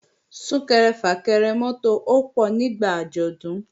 Sún-kẹrẹ-fà-kẹrẹ mọ́tò ó pọ̀ nígbà àjọ̀dún